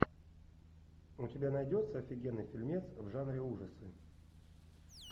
у тебя найдется офигенный фильмец в жанре ужасы